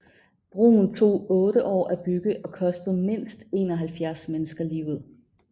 Broen tog otte år at bygge og kostede mindst 71 mennesker livet